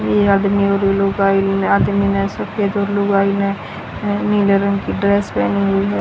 ये आदमी और लुगाई आदमी ने सफेद और लुगाई ने नीले रंग की ड्रेस पहनी हुई है।